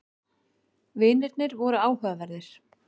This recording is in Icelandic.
Vinirnir voru áhugaverðir.